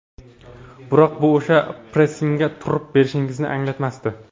Biroq bu o‘sha pressingga turib berishimizni anglatmasdi.